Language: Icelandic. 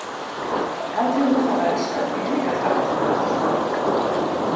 Hafði hún þá elskað peninga þrátt fyrir allt?